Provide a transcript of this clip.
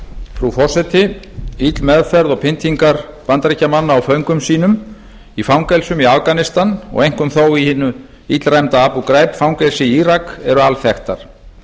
frú forseti ill meðferð og pyndingar bandaríkjamanna á föngum sínum í fangelsum í afganistan og einkum þó í hinu illræmda abugait fangelsi í írak eru alþekktar